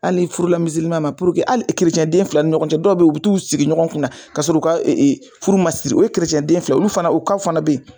Ali n'i furula miziliman ma puruke ali kerecɛnden fila ni ɲɔgɔn cɛ dɔw be yen u b'u t'u sigi ɲɔgɔn kunna k'a sɔrɔ u ka e efuru ma siri o kerecɛnden fila olu fana o kaw fɛnɛ be yen